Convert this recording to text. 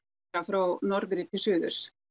frá norðri til suðurs